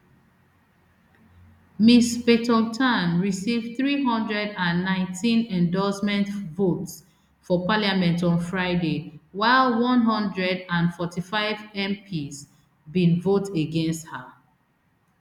ms paetongtarn receive three hundred and nineteen endorsement votes for parliament on friday while one hundred and forty-five mps bin vote against her